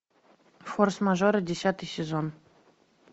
форс мажоры десятый сезон